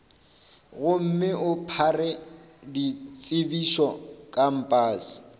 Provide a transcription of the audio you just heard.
gomme o phare ditsebišo kampase